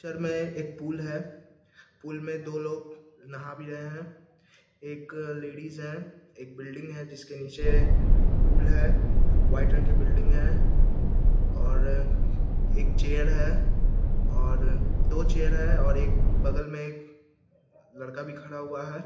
चर में एक पुल है पुल मे दो लोग नहा भी रहे हैं। एक लेडीज है। एक बिल्डिंग है जिसके नीचे पुल है। वाइट रंग की बिल्डिंग है और एक चेयर है और दो चेयर है और एक बगल में एक लड़का भी खड़ा हुआ है।